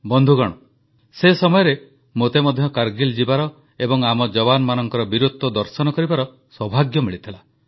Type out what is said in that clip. ବନ୍ଧୁଗଣ ସେ ସମୟରେ ମୋତେ ମଧ୍ୟ କାରଗିଲ୍ ଯିବାର ଏବଂ ଆମ ଯବାନମାନଙ୍କ ବୀରତ୍ୱ ଦର୍ଶନ କରିବାର ସୌଭାଗ୍ୟ ମିଳିଥିଲା